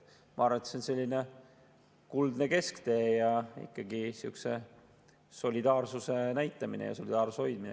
Ma arvan, et see on selline kuldne kesktee ja ikkagi sellise solidaarsuse näitamine ja solidaarsuse hoidmine.